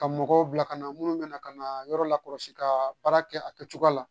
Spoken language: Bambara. Ka mɔgɔw bila ka na munnu bɛna ka na yɔrɔ la kɔlɔsi ka baara kɛ a kɛcogoya la